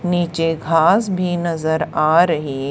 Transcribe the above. नीचे घास भी नजर आ रही --